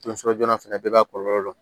joona fɛnɛ bɛɛ b'a kɔlɔlɔ dɔn